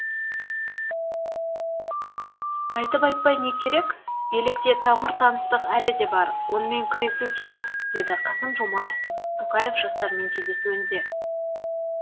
айтып айтпай не керек билікте тамыр таныстық әлі де бар онымен күресу керек деді қасым жомарт тоқаев жастармен кездесуінде